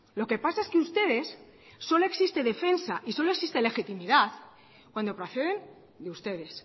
lo que pasa es que ustedes solo existe defensa y solo existe legitimidad cuando procede de ustedes